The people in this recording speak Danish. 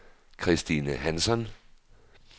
Christine Hansson